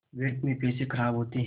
व्यर्थ में पैसे ख़राब होते हैं